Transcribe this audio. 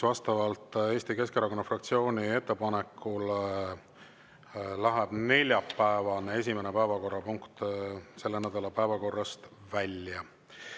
Vastavalt Eesti Keskerakonna fraktsiooni ettepanekule läheb neljapäevane esimene päevakorrapunkt selle nädala päevakorrast välja.